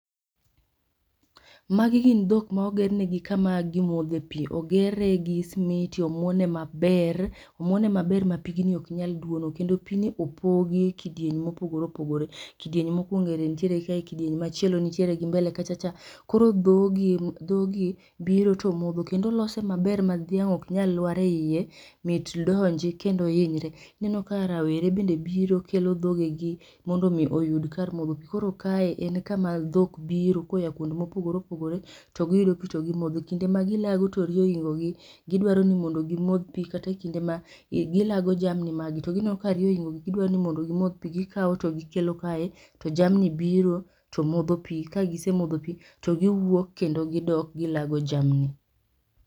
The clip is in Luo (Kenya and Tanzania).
magi gin dhok ma ogernegi kama gimodhe pi, ogere gi smiti, omuon maber, omuone maber ma pigni ok nyal duono kendo pini opogi e kidieny mopogore opogore. Kidieny mokwongo erentiere kae, kidieny machielo nitiere gi mbele kachacha. Koro dhogi dhogi biro to modho kendo olose maber ma dhiang' ok nyal lwar e iye mit donji kendo hinyre, ineno ka rawere bende biro kelo dhogegi mondo mi oyud kar modho pi koro kae en kama dhok biro koya kuond mopogore opogore to giyudo pi to gimodho kinde ma gilago to riyo ohingo gi gidwaro ni mondo gimodh pi kata e kinde ma gilago jamni magi to gineno ka riyo ohingogi gidwani mondo gimodh pi kikaw to gikelo kae to jamni biro to modho pi, ka gisemodho pi to giwuok kendo gidok gilago jamni